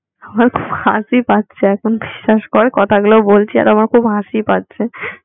আমার খুব হাসি পাচ্ছে এখন বিশ্বাস কর কথাগুলো বলছি আর আমার খুব হাসি পাচ্ছে